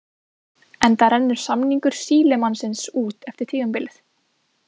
Enda rennur samningur Sílemannsins út eftir tímabilið.